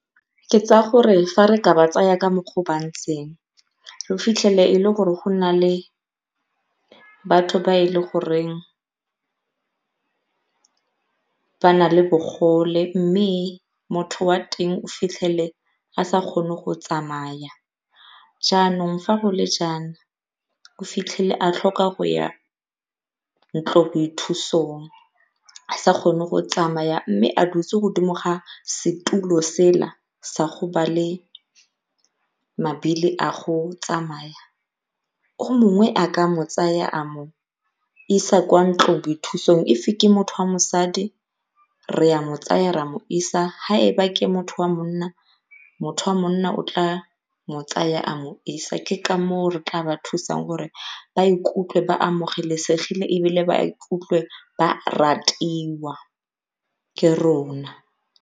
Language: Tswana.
Ke tsaya gore fa re ka ba tsaya ka mokgwa o ba ntseng o fitlhele e le gore go na le batho ba e le goreng ba na le bogole mme motho wa teng o fitlhele a sa kgone go tsamaya. Jaanong fa go le jaana o fitlhele a tlhoka go ya ntloboithusong a sa kgone go tsamaya mme a dutse godimo ga setulo sela sa ba le mabili a go tsamaya. O mongwe a ka mo tsaya a mo isa kwa ntloboithusong. If-e ke motho wa mosadi re a mo tsaya ra mo isa ga ke motho wa monna, motho wa monna o tla mo tsaya a mo isa ke ka moo re tla ba thusang gore ba ikutlwe ba amogelesegile ebile ba ikutlwe ba ratiwa ke rona.